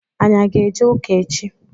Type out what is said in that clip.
Anyị aga eje ụka echi?